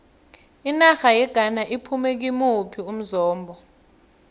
inarha yeghana iphume kimuphi umzombe